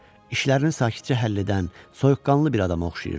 İşlərini sakitcə həll edən, soyuqqanlı bir adama oxşayırdı.